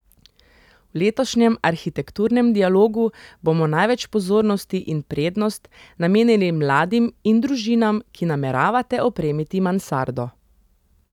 V letošnjem Arhitekturnem dialogu bomo največ pozornosti in prednost namenili mladim in družinam, ki nameravate opremiti mansardo.